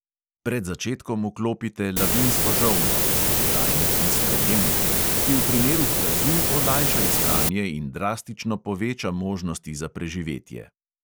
Pred začetkom vklopite lavinsko žolno (oddajnik in sprejemnik), ki v primeru plazu olajša iskanje in drastično poveča možnosti za preživetje.